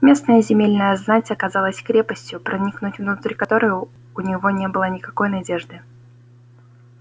местная земельная знать оказалась крепостью проникнуть внутрь которой у него не было никакой надежды